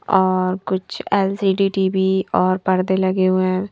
और कुछ LCD TV और परदे लगे हुए है।